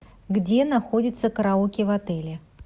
где находится караоке в отеле